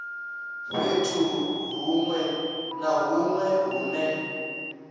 fhethu huṅwe na huṅwe hune